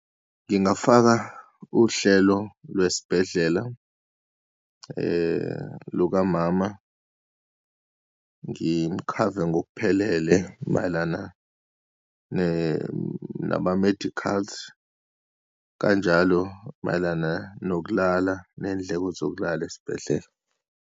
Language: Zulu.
Ngingafaka uhlelo lwesibhedlela lukamama, ngimkhave ngokuphelele mayelana ne, nama-medicals, kanjalo mayelana nokulala, neyindleko zokulala esibhedlela.